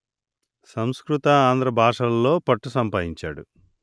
సంస్కృత ఆంధ్ర భాషలలో పట్టు సంపాదించాడు